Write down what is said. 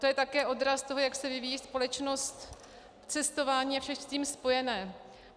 To je také odraz toho, jak se vyvíjí společnost, cestování a vše s tím spojené.